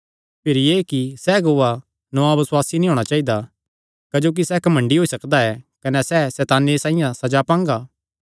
भिरी एह़ कि सैह़ अगुआ नौआं बसुआसी नीं होणा चाइदी क्जोकि सैह़ घमंडी होई सकदा ऐ कने सैह़ सैताने साइआं सज़ा पांगा